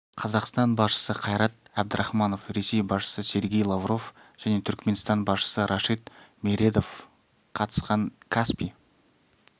қазақстан басшысы қайрат әбдірахманов ресей басшысы сергей лавров және түркіменстан басшысы рашид мередов қатысқан каспий